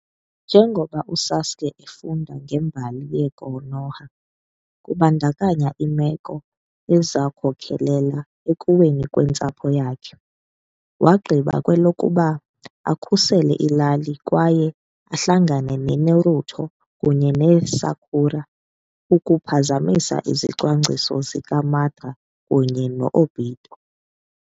Njengokuba uSasuke efunda ngembali yeKonoha, kubandakanya iimeko ezakhokelela ekuweni kwentsapho yakhe, wagqiba kwelokuba akhusele ilali kwaye ahlangane neNaruto kunye neSakura ukuphazamisa izicwangciso zikaMadara kunye no-Obito.